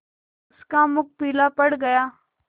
उसका मुख पीला पड़ गया